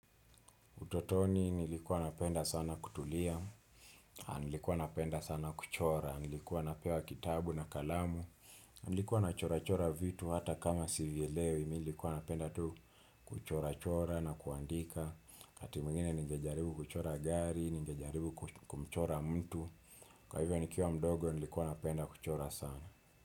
Utotoni nilikuwa napenda sana kutulia, nilikuwa napenda sana kuchora, nilikuwa napewa kitabu na kalamu, nilikuwa na chora chora vitu hata kama sivye lewe, nilikuwa napenda tu kuchora chora na kuandika, hati mwengine nigejaribu kuchora gari, nigejaribu kumchora mtu, kwa hivyo nikiwa mdogo nilikuwa napenda kuchora sana.